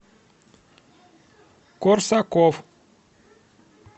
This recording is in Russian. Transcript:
корсаков